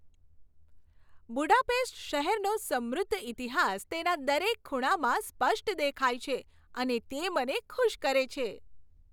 Budapest શહેરનો સમૃદ્ધ ઇતિહાસ તેના દરેક ખૂણામાં સ્પષ્ટ દેખાય છે અને તે મને ખુશ કરે છે.